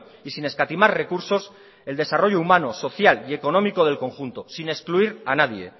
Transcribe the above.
y sin escatimar recursos el desarrollo humano social y económico del conjunto sin excluir a nadie